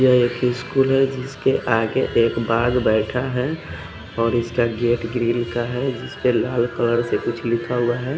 यह एक स्कूल है जिसके आगे एक बाग़ बेठा है और इसका गेट ग्रीन का है जिसपे लाल कलर से कुछ लिखा हुआ है।